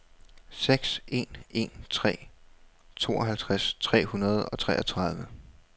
seks en en tre tooghalvtreds tre hundrede og toogtredive